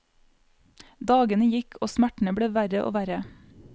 Dagene gikk og smertene ble verre og verre.